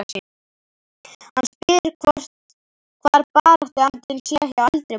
Hann spyr hvar baráttuandinn sé hjá eldri borgurum?